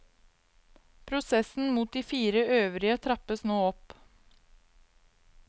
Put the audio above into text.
Prosessen mot de fire øvrige trappes nå opp.